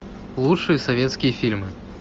лучшие советские фильмы